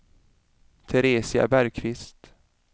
Teresia Bergqvist